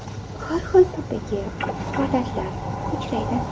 Har xil turdagi holatlar uchraydi.